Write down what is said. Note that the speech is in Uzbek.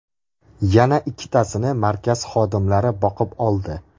Yana ikkitasini markaz xodimlari boqib oldi.